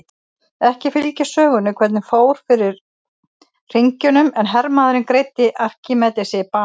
Ekki fylgir sögunni hvernig fór fyrir hringjunum en hermaðurinn greiddi Arkímedesi banahögg.